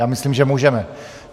Já myslím, že můžeme.